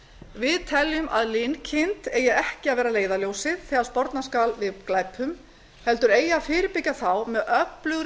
við teljum að linkind eigi ekki að vera leiðarljósið þegar sporna skal við glæpum heldur eigi að fyrirbyggja þá með öflugri